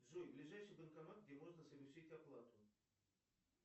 джой ближайший банкомат где можно совершить оплату